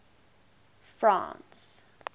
france